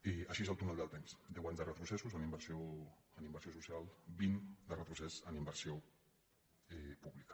i així és el túnel del temps deu anys de retrocessos en inversió social vint de retrocés en inversió pública